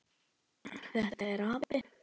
Þetta er api.